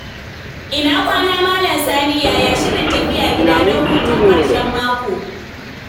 Ina kwana, Malam Sani. Yaya shirin tafiya gida don hutun ƙarshen mako?